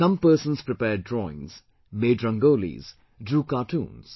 Some persons prepared drawings, made Rangolis, drew cartoons